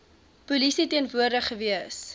polisie teenwoordig gewees